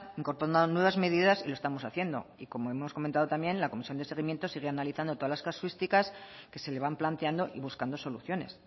incorporando nuevas medidas y lo estamos haciendo y como hemos comentado también la comisión de seguimiento sigue analizando todas las casuísticas que se le van planteando y buscando soluciones